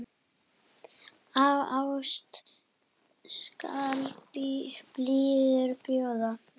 Af ást skal blíðuna bjóða.